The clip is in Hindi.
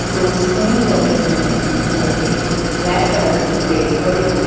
दो स्पून पड़े हुए है और एक ब्लैक कलर की प्लेट पड़ी हुई--